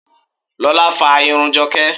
Lola fa irun Joke.